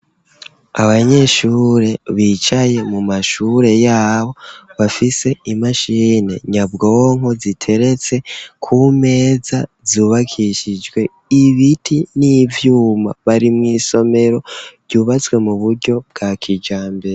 Abanyeshure, bicaye mu mashure yabo, bafise, imashini nyabwonko, ziteretse kumeza, zubakishijwe ibiti, n'ivyuma; bari mw'isomero, ryubatswe mu buryo bwa kijambere.